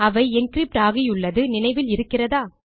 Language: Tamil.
அவை என்கிரிப்ட் ஆகியுள்ளது நினைவில் இருக்கிறதா